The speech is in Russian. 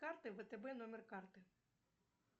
карты втб номер карты